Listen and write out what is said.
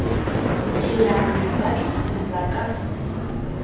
ke ya ho batlisisa ka